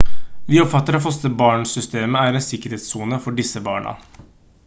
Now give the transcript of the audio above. vi oppfatter at fosterbarnsystemet er en sikkerhetssone for disse barna